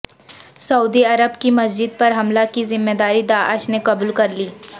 سعودی Arab کی مسجد پر حملہ کی ذمہ داری داعش نے قبول کر لی